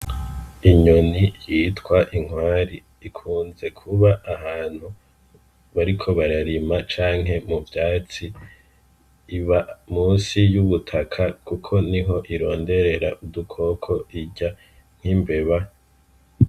Inyoni yitwa inkware ikunze kuba ahantu bariko bararima canke mu vyatsi iba munsi yubutaka kuko niho ironderera udukoko irya nkimbeba.